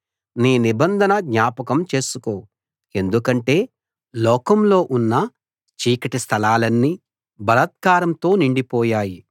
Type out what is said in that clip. నీ నిబంధన జ్ఞాపకం చేసుకో ఎందుకంటే లోకంలో ఉన్న చీకటి స్థలాలన్నీ బలాత్కారంతో నిండిపోయాయి